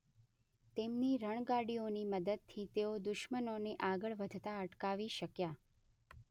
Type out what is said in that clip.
તેમની રણગાડીઓની મદદથી તેઓ દુશ્મનોને આગળ વધતા અટકાવી શક્યા.